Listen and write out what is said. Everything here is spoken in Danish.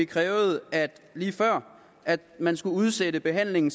krævede at man skulle udsætte behandlingen